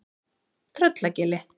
Tröllagili